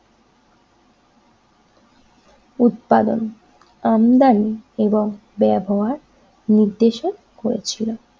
উৎপাদন আমদানি এবং ব্যবহার নির্দেশক হয়েছিল।